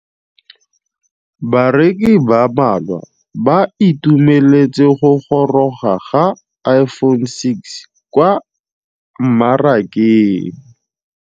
Bareki ba ba malwa ba ituemeletse go gôrôga ga Iphone6 kwa mmarakeng.